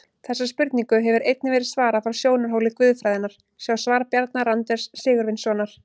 Þessari spurningu hefur einnig verið svarað frá sjónarhóli guðfræðinnar, sjá svar Bjarna Randvers Sigurvinssonar.